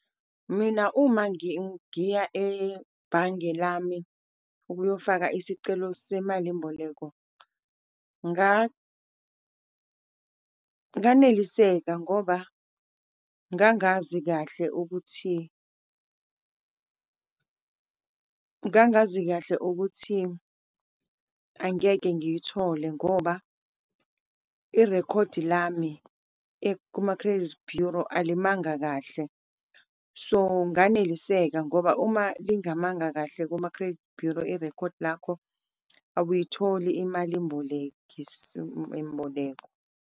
Mina uma ngiya ebhange lami ukuyofaka isicelo semalimboleko, nganeliseka ngoba ngangazi kahle ukuthi, ngangazi kahle ukuthi angeke ngiyithole ngoba irekhodi lami kuma-credit bureau alimanga kahle. So, nganeliseka ngoba uma lingamanga kahle kuma-credit bureau irekhodi lakho awuyitholi imalimboleko .